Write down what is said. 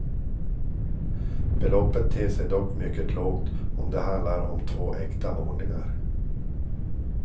Beloppet ter sig dock mycket lågt om det handlar om två äkta målningar.